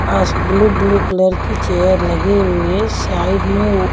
पास blue blue colour की chair लगी हुई है साइड में वो--